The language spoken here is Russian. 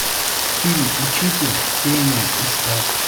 фильм учитель пения искать